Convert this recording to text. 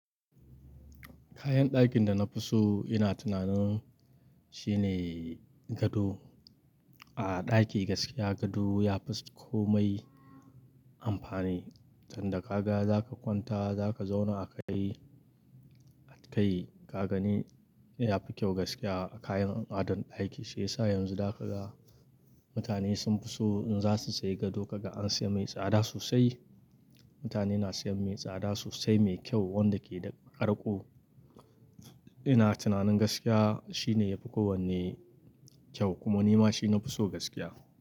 Kayan ɗakin da na fi so ina tunanin shine gado. A ɗaki gaskiya gado ya fi komai amfani. Tunda ka ga za ka kwanta, za ka zauna a kai, kai kaga ni yafi kyau gaskiya a kayan adon ɗaki. Shi yasa yanzu da aka ga mutane sun fi so in za su sayi gado kaga an sayi mai tsada sosai. Mutane na sayan mai tsada sosai, mai kyau wanda ke da ƙarƙo. Ina tunanin gaskiya shi ne yafi kowanne kyau kuma ni ma shi na fi so gaskiya.